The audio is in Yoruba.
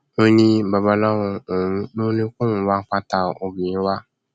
ó ní babaláwo òun ló ní kóun wá pátá obìnrin wa